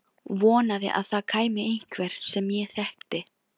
Vonaði að það kæmi einhver sem ég þekkti.